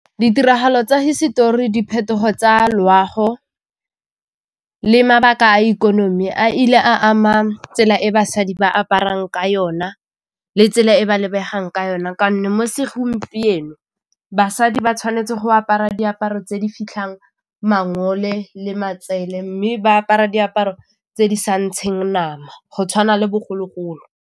Ditiragalo tsa hisetori, diphetogo tsa loago le mabaka a ikonomi a ile a ama tsela e basadi ba aparang ka yona le tsela e ba lebegang ka yona kaone mo segompieno basadi ba tshwanetse go apara diaparo tse di fitlhang mangole le matsele, mme ba apara diaparo tse di sa ntsheng nama go tshwana le bogologolo.